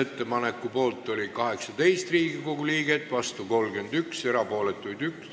ettepaneku poolt oli 18 ja vastu 33 Riigikogu liiget, erapooletuid oli 2.